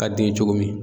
Ka den cogo min